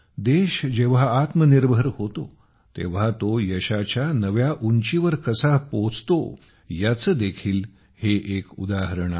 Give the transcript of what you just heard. देश जेव्हा आत्मनिर्भर होतो तेव्हा तो यशाच्या नव्या उंचीवर कसा पोहोचतो याचे देखीलहे एक उदाहरण आहे